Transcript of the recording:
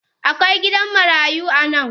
Akwai gidan marayu a nan?